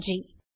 நன்றி